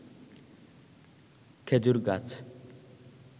খেজুর গাছ